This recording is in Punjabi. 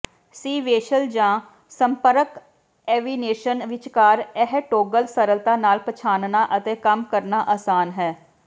ਸੀਵੈਂਸ਼ਲ ਜਾਂ ਸੰਪਰਕ ਐਵੀਨੇਸ਼ਨ ਵਿਚਕਾਰ ਇਹ ਟੌਗਲ ਸਰਲਤਾ ਨਾਲ ਪਛਾਣਨਾ ਅਤੇ ਕੰਮ ਕਰਨਾ ਆਸਾਨ ਹੈ